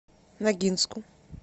ногинску